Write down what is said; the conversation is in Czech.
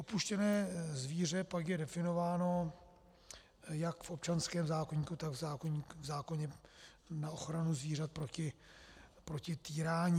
Opuštěné zvíře pak je definováno jak v občanském zákoníku, tak v zákoně na ochranu zvířat proti týrání.